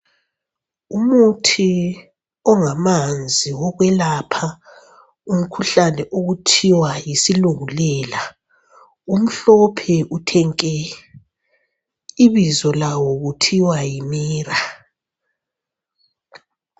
Umuthi ongamanzi wokwelapha umkhuhlane okuthiwa yisilungulela. Umhlophe uthe nke. Ibizo lawo kuthiwa yi MIRA.